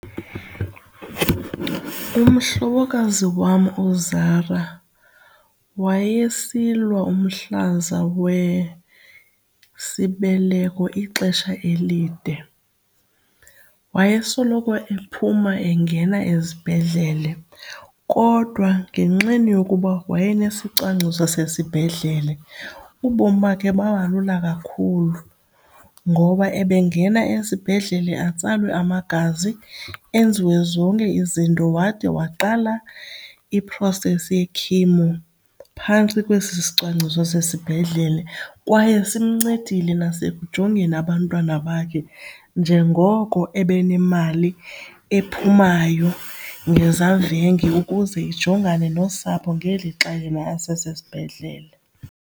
Umhlobokazi wam uZara wayesilwa umhlaza wesibeleko ixesha elide. Wayesoloko ephuma engena ezibhedlele kodwa ngenxeni yokuba wayenesicwangciso sesibhedlele, ubomi bakhe baba lula kakhulu ngoba ebengena esibhedlele atsalwe amagazi enziwe zonke izinto wade waqala i-process ye-chemo phantsi kwesi isicwangciso sesibhedlele. Kwaye simncedile nasekujongeni abantwana bakhe njengoko ebenemali ephumayo ngezavenge ukuze ijongane nosapho ngelixa yena asesibhedlele.